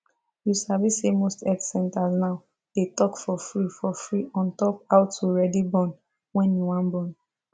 you sabi say most health centers now they talk for free for free ontop how to ready born wen you wan born